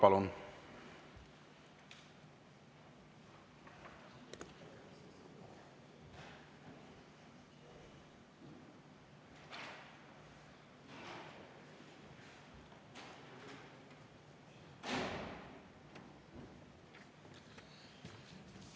Palun!